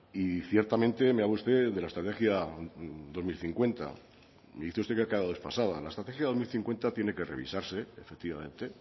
y ciertamente me habla usted de la estrategia dos mil cincuenta y dice usted que ha quedado desfasada la estrategia dos mil cincuenta tiene que revisarse efectivamente